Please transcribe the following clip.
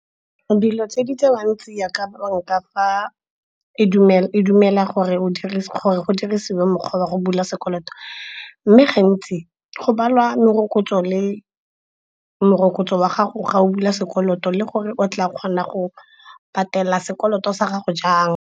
Dilo tse di tsewang tsia ka banka fa e dumela gore gore go dirisiwe mokgwa wa go bula sekoloto, mme gantsi go balwa morokotso wa gago ga o bula sekoloto le gore o tla kgona go patela sekoloto sa gago jang.